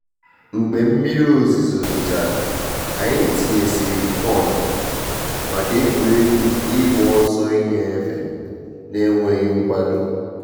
Mgbe mmiri ozizo zochara, anyị tinye sịrị kọn maka egwuregwu ịgba ọsọ ịnyefe n'enweghị mkwado